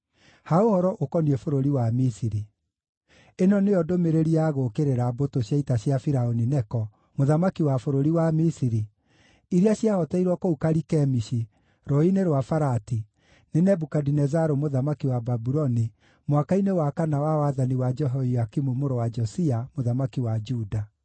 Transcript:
Ha ũhoro ũkoniĩ bũrũri wa Misiri: Ĩno nĩyo ndũmĩrĩri ya gũũkĩrĩra mbũtũ cia ita cia Firaũni Neko, mũthamaki wa bũrũri wa Misiri, iria ciahooteirwo kũu Karikemishi, Rũũĩ-inĩ rwa Farati, nĩ Nebukadinezaru mũthamaki wa Babuloni, mwaka-inĩ wa kana wa wathani wa Jehoiakimu mũrũ wa Josia, mũthamaki wa Juda: